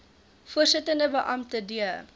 voorsittende beampte d